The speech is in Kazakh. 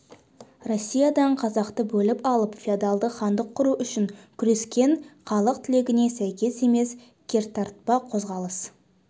россиядан қазақты бөліп алып феодалдық хандық құру үшін күрескен халық тілегіне сәйкес емес кертартпа қозғалыс